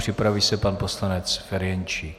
Připraví se pan poslanec Ferjenčík.